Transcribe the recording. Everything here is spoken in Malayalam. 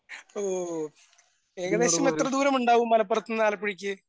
ഓ ഏകദേശം എത്ര ദൂരം ഉണ്ടാകും മലപ്പുറത്തുനിന്ന് ആലപ്പുഴയ്ക്ക്?